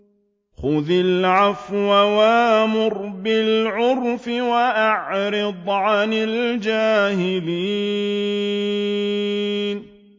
خُذِ الْعَفْوَ وَأْمُرْ بِالْعُرْفِ وَأَعْرِضْ عَنِ الْجَاهِلِينَ